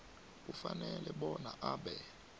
ufanele bona abe